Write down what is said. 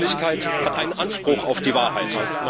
Die Öffentlichkeit hat einen Anspruch auf die Wahrheit.